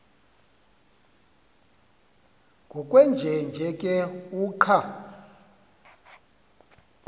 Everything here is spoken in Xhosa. ngokwenjenje ke uqa